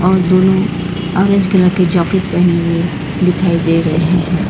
वह दोनों orange colour के जैकेट पहने हुए दिखाई दे रहे हैं।